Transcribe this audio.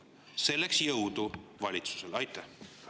Selleks jõudu valitsusele!